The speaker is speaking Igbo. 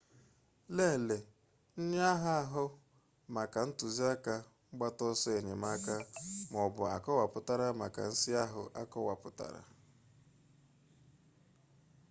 lelee nnyeaha ahụ maka ntụziaka mgbata ọsọ enyemaka mbụ akọwapụtara maka nsi ahụ akọwapụtara